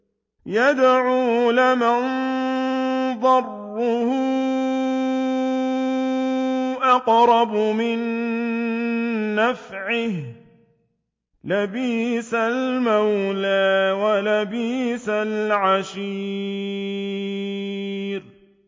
يَدْعُو لَمَن ضَرُّهُ أَقْرَبُ مِن نَّفْعِهِ ۚ لَبِئْسَ الْمَوْلَىٰ وَلَبِئْسَ الْعَشِيرُ